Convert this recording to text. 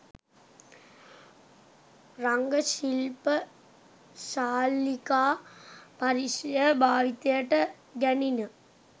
රංග ශිල්ප ශාලිකා පරිශ්‍රය භාවිතයට ගැණින